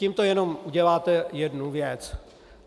Tímto jenom uděláte jednu věc.